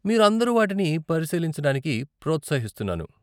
మీరు అందరు వాటిని పరిశీలించడానికి ప్రోత్సహిస్తున్నాను.